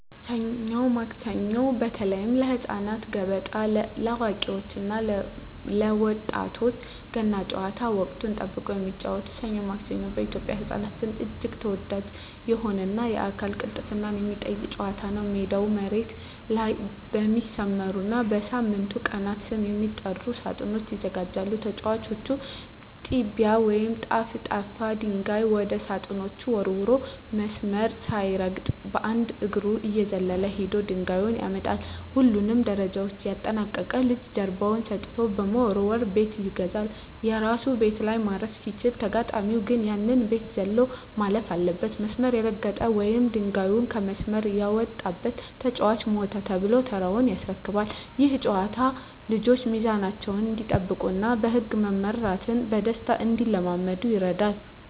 ሰኞ ማክሰኞ (በተለይ ለህፃናት)፣ገበጣ (ለአዋቂዎች እና ለወጣቶች)፣ ገና ጨዋታ (ወቅትን ጠብቆ የሚጫወቱት) "ሰኞ ማክሰኞ" በኢትዮጵያ ህፃናት ዘንድ እጅግ ተወዳጅ የሆነና የአካል ቅልጥፍናን የሚጠይቅ ጨዋታ ነው። ሜዳው መሬት ላይ በሚሰመሩና በሳምንቱ ቀናት ስም በሚጠሩ ሳጥኖች ይዘጋጃል። ተጫዋቹ "ጢያ" ወይም ጠፍጣፋ ድንጋይ ወደ ሳጥኖቹ ወርውሮ፣ መስመር ሳይረግጥ በአንድ እግሩ እየዘለለ ሄዶ ድንጋዩን ያመጣል። ሁሉንም ደረጃዎች ያጠናቀቀ ልጅ ጀርባውን ሰጥቶ በመወርወር "ቤት ይገዛል"። የራሱ ቤት ላይ ማረፍ ሲችል፣ ተጋጣሚው ግን ያንን ቤት ዘሎ ማለፍ አለበት። መስመር የረገጠ ወይም ድንጋዩ ከመስመር የወጣበት ተጫዋች "ሞተ" ተብሎ ተራውን ያስረክባል። ይህ ጨዋታ ልጆች ሚዛናቸውን እንዲጠብቁና በህግ መመራትን በደስታ እንዲለማመዱ ይረዳል።